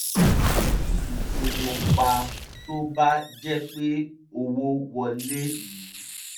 wọ́n yí ipinnu pa tó bá jẹ́ pé owó wọlé yí